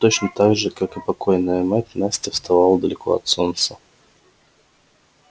точно так же как и покойная мать настя вставала далеко от солнца